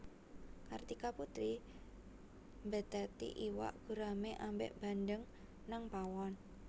Kartika Putri mbetheti iwak gurame ambek bandeng nang pawon